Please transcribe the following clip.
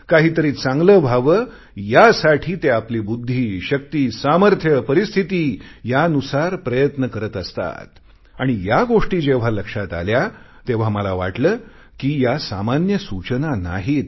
काही तरी चांगले व्हावे यासाठी ते आपली बुद्धी शक्ती सामर्थ्य परिस्थिती नुसार प्रयत्न करत असतात आणि या गोष्टी जेव्हा लक्षात आल्या तेव्हा मला वाटले कि या सामान्य सूचना नाहीत